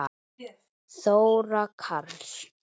Þóra Karls.